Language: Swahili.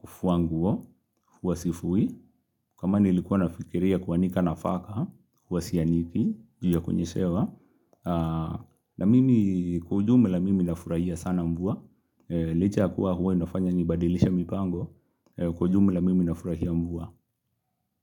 kufuanguo huwa sifui kama nilikuwa nafikiria kuanika nafaka hua sianiki juu ya kunyeshewa na mimi kwa ujumla mimi na furahia sana mvua Licha ya kuwa huwa inafanya ni badilishe mipango Kujume la mimi na furahia mbua.